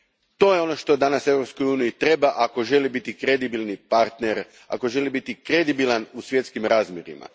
To je ono što danas Europskoj uniji treba ako želi biti kredibilni partner, ako želi biti kredibilna u svjetskim razmjerima.